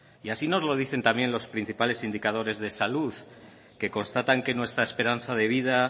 y así nos lo dicen los principales indicadores de salud que constatan que nuestra esperanza de vida